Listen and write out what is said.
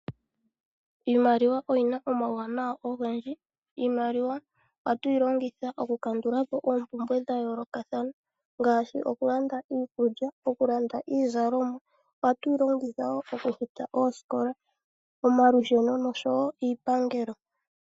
Iimaliwa oyina omauwanawa ogendji. Iimaliwa ohatu yi longitha oku kandula po oompumbwe dha yoolokathana ngaashi oku landa iikulya, oku landa iizalomwa. Ohatu yi longitha wo oku futa oosikola, omalusheno oahowo iipangelo.